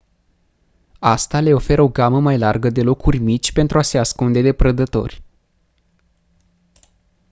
asta le oferă o gamă mai largă de locuri mici pentru a se ascunde de prădători